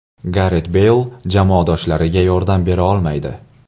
Garet Beyl jamoadoshlariga yordam bera olmaydi.